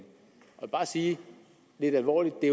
jeg vil bare sige lidt alvorligt at det